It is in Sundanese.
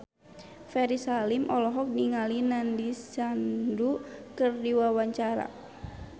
Ferry Salim olohok ningali Nandish Sandhu keur diwawancara